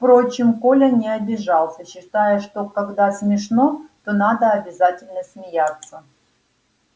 впрочем коля не обижался считая что когда смешно то надо обязательно смеяться